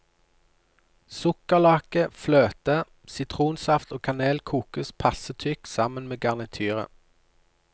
Sukkerlake, fløte, sitronsaft og kanel kokes passe tykk sammen med garnityret.